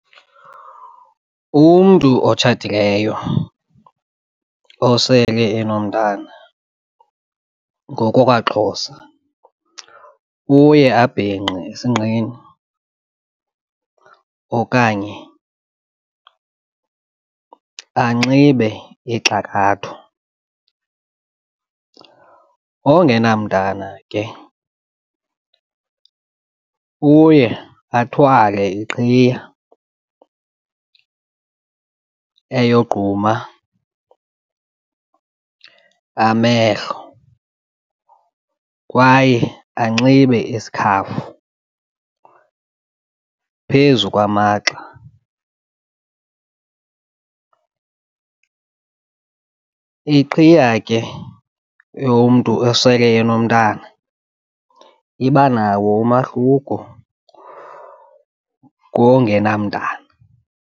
Umntu otshatileyo osele enomtwana ngokwakwaXhosa uye abhinqe esinqeni okanye anxibe ixakatho, ongenamntana ke uye athwale iqhiya eyogquuma amehlo kwaye anxibe isikhafu phezu kwamagxa. Iqhiya ke yomntu esele enomntana iba nawo umahluko kongenamntana.